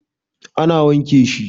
A na wanke shi